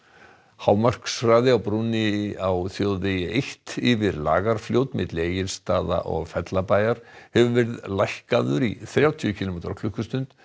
hámarkshraði á brúnni á þjóðvegi eitt yfir Lagarfljót milli Egilsstaða og Fellabæjar hefur verið lækkaður í þrjátíu kílómetra á klukkustund